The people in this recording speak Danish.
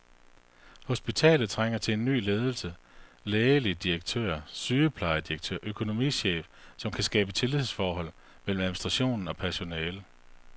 Hospitalet trænger til en ny ledelse, lægelig direktør, sygeplejedirektør og økonomichef som kan skabe tillidsforhold mellem administration og personale.